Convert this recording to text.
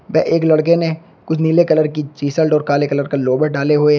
एक लड़के ने कुछ नीले कलर की टीशर्ट और काले कलर का लोअर डाले हुए है।